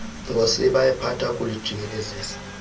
ngosiba ephatha kulujikelezisa